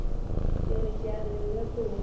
ke re ke a leboga